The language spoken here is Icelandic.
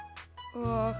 og